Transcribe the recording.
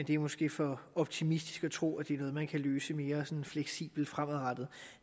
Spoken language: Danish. det er måske for optimistisk at tro at det er noget man kan løse mere sådan fleksibelt fremadrettet